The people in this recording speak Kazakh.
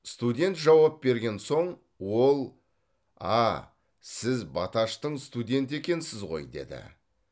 студент жауап берген соң ол а сіз баташтың студенті екенсіз ғой деді